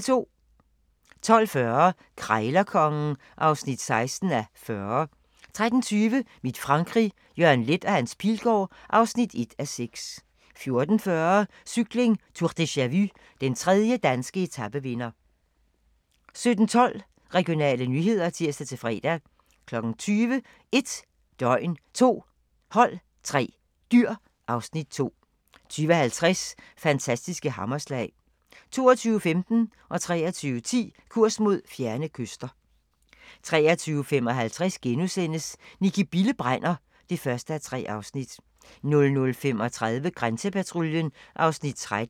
12:40: Krejlerkongen (16:40) 13:20: Mit Frankrig - Jørgen Leth & Hans Pilgaard (1:6) 14:40: Cykling: Tour deja-vu - den 3. danske etapevinder 17:12: Regionale nyheder (tir-fre) 20:00: 1 døgn, 2 hold, 3 dyr (Afs. 2) 20:50: Fantastiske hammerslag 22:15: Kurs mod fjerne kyster 23:10: Kurs mod fjerne kyster 23:55: Nicki Bille brænder (1:3)* 00:35: Grænsepatruljen (Afs. 13)